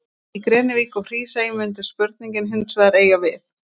Í Grenivík og Hrísey mundi spurningin hins vegar eiga við.